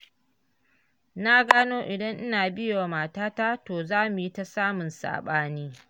Na gano idan Ina biyewa matata, to zamu yi ta samun saɓani.